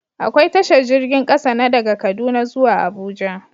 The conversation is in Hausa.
Akwai tashar jirgin ƙasa, na daga kaduna zuwa abuja